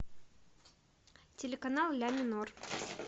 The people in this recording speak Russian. телеканал ля минор